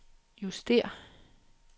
justér